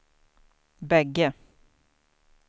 bägge